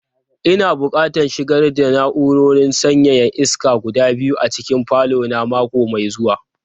Ina buƙatan shigar da na'urorin sanyaya iska guda biyu a cikin falo na mako mai zuwa.